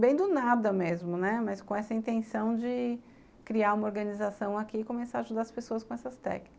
Bem do nada mesmo, né, mas com essa intenção de criar uma organização aqui e começar a ajudar as pessoas com essas técnicas.